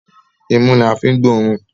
Imú la fi ń gbóòórùn.